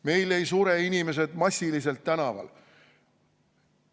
Meil ei sure inimesed massiliselt tänaval.